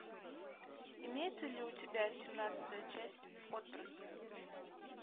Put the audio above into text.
имеется ли у тебя семнадцатая часть отбросы